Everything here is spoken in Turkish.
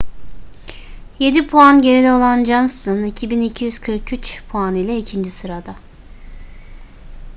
yedi puan geride olan johnson 2.243 puan ile ikinci sırada